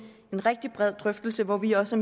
rigtig bred drøftelse hvor vi også